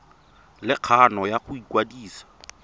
le kgano ya go ikwadisa